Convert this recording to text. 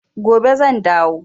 Gobe zan dawo.